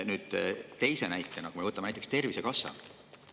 Võtame teiseks näiteks Tervisekassa.